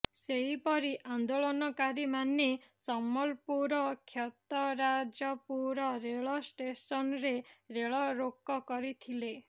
ସେହିପରି ଆନ୍ଦୋଳନକାରୀମାନେ ସମ୍ବଲପୁର କ୍ଷେତରାଜପୁର ରେଳ ଷ୍ଟେସନରେ ରେଳରୋକ କରିଥିଲେ